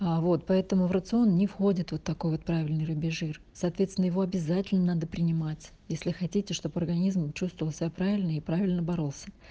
а вот поэтому в рацион не входит вот такой вот правильный рыбий жир соответственно его обязательно надо принимать если хотите чтобы организм чувствовал себя правильно и правильно боролся